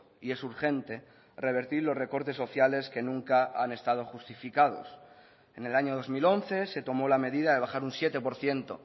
y es urgente revertir los recortes sociales que nunca han estado justificados en el año dos mil once se tomó la medida de bajar un siete por ciento